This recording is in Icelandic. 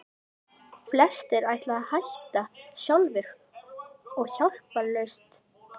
Flestir ætla að hætta sjálfir og hjálparlaust.